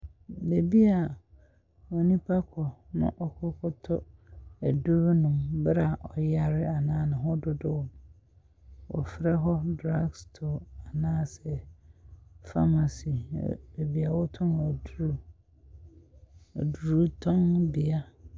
Baabi a onipa kɔ na ɔkɔtɔ aduru nom, berɛ a ɔyare anaa ne ho dodow no. Wɔfrɛ hɔ drug store anaasɛ pharmacy, baabi a wɔtɔn aduro Adurutɔnbea.